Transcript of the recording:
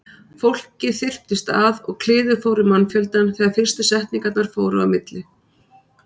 Fólkið þyrptist að og kliður fór um mannfjöldann þegar fyrstu setningarnar fóru á milli.